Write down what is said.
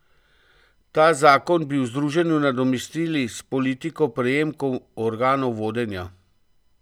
Ta zakon bi v združenju nadomestili s politiko prejemkov organom vodenja.